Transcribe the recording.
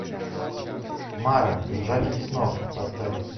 мара пожиратель снов поставь